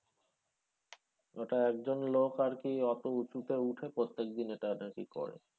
ওটা একজন লোক আরকি অতো উঁচুতে উঠে প্রত্যেকদিন এটা নাকি করে।